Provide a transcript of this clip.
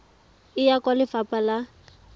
e ya kwa lefapha la